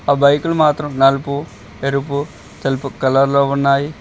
ఆ బైకులు మాత్రం నలుపు ఎరుపు తెలుపు కలర్ లో ఉన్నాయి.